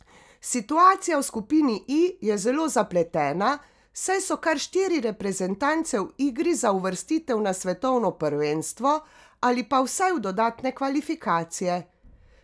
Situacija v skupini I je zelo zapletena, saj so kar štiri reprezentance v igri za uvrstitev na svetovno prvenstvo ali pa vsaj v dodatne kvalifikacije.